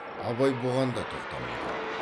абай бұған да тоқтамады